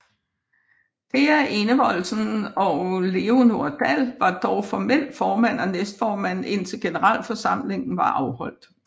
Thea Enevoldsen og Leanor Dall var dog formelt formand og næstformand indtil generalforsamlingen var afholdt